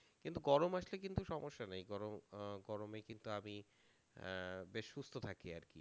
কিন্তু গরম আসলে কিন্তু সমস্যা নেই, গর~ আহ গরমে কিন্তু আমি আহ বেশ সুস্থ থাকি আরকি